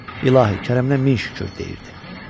İlahi, kərəmindən min şükür deyirdi.